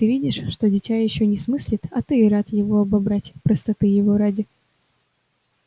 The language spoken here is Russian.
ты видишь что дитя ещё не смыслит а ты и рад его обобрать простоты его ради